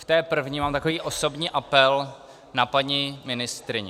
K té první mám takový osobní apel na paní ministryni.